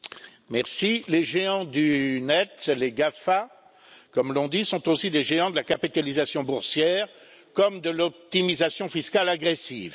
Monsieur le Président, les géants du net, les GAFA comme l'on dit, sont aussi des géants de la capitalisation boursière comme de l'optimisation fiscale agressive.